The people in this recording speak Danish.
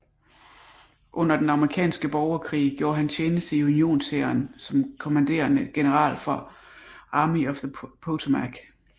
Under den amerikanske borgerkrig gjorde han tjeneste i unionshæren som kommanderende general for Army of the Potomac